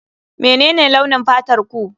Menene launin fatarku?